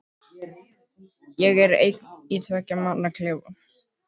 Ég er einn í tveggja manna klefa.